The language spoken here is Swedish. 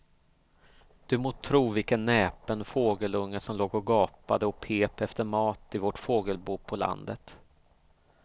Du må tro vilken näpen fågelunge som låg och gapade och pep efter mat i vårt fågelbo på landet.